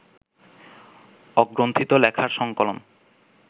অগ্রন্থিত লেখার সংকলন